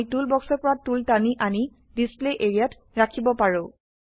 আমি টুল বক্সৰ পৰা টুল টানি আনি ডিছপ্লে এৰিয়া ত ৰাখিব পাৰো